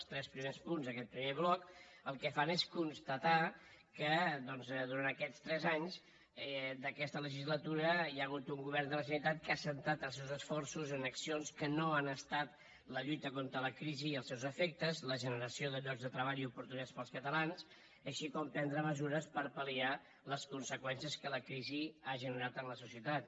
els tres primers punts d’aquest primer bloc el que fan és constatar que doncs durant aquests tres anys d’aquesta legislatura hi ha hagut un govern de la generalitat que ha centrat els seus esforços en accions que no han estat la lluita contra la crisi i els seus efectes la generació de llocs de treball i oportunitats per als catalans així com prendre mesures per pal·liar les conseqüències que la crisi ha generat en la societat